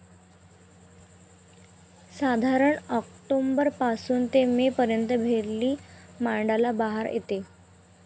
साधारणतः ऑक्टोबर पासून ते में पर्यंत भेरली माडाला बहार येतो.